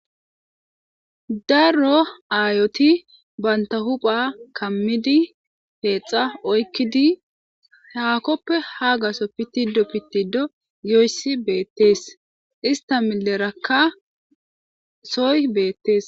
Daro ayoti ba huphiya kamidi peyxa oykidi haakoppe haa gatho pitido yoysi beetes.ista mileraka soy beetes.